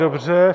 Dobře.